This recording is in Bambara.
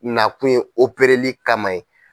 Nakun ye opereli kama ye.